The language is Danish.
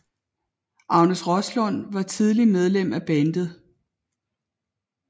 Agnes Roslund var tidlig medlem af bandet